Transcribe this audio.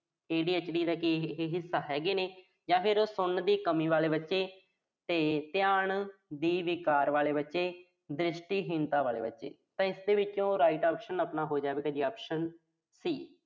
ADHD ਦਾ ਕੀ ਇਹ ਹਿੱਸਾ ਹੈਗੇ ਨੇ, ਜਾਂ ਫਿਰ ਸੁਣਨ ਦੀ ਕਮੀ ਵਾਲੇ ਬੱਚੇ। ਤੇ ਧਿਆਨ ਦੇ ਵਿਕਾਰ ਵਾਲੇ ਬੱਚੇ, ਦ੍ਰਿਸ਼ਟੀਹੀਣਤਾ ਵਾਲੇ ਬੱਚੇ, ਤਾਂ ਇਸ ਦੇ ਵਿੱਚ right answer ਹੋ ਜਾਵੇਗਾ ਜੀ, ਆਪਣਾ optionC